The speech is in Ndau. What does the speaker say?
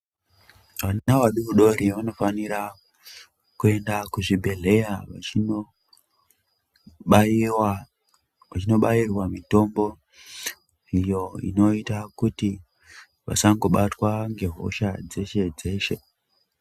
Ana adodori anofanira kuenda kuzvibhehlera vaibairwa mutombo iyo inoita kuti vasangibatwa nehosha dze shedzeshe.